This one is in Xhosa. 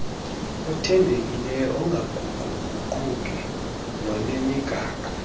othembekileyo ongaguquguqiyo nonemigaqo